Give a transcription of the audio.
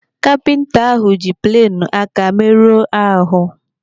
Kapinta ahụ ji plenụ aka meruo ahụ.